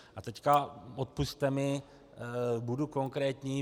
A teď, odpusťte mi, budu konkrétní.